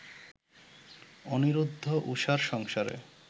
অনিরুদ্ধ, উষার সংসারে